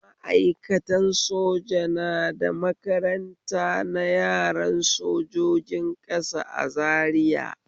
Ma'aikatan soja na da makaranta na yaran sojojin ƙasa a Zariya